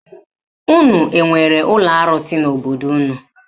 Unu enwere ụlọ arụsị n'obodo unu?